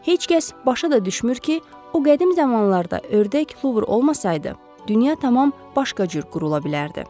Heç kəs başına da düşmür ki, o qədim zamanlarda ördək luvr olmasaydı, dünya tamam başqa cür qurula bilərdi.